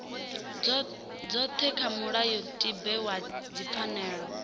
dzothe kha mulayotibe wa dzipfanelo